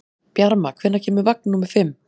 Bjarma, hvenær kemur vagn númer fimm?